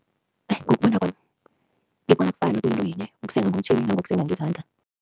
Ngokubona kwami, ngibona kufana, kuyinto yinye, ukusenga ngomtjhini nangokusenga ngezandla.